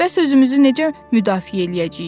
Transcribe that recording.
Bəs özümüzü necə müdafiə eləyəcəyik?